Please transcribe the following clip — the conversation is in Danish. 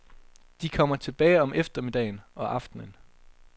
De kommer tilbage om eftermiddagen og aftenen.